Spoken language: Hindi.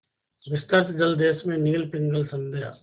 विस्तृत जलदेश में नील पिंगल संध्या